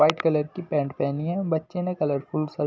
white colour की pant पहनी है बच्चे ने कलरफुल स--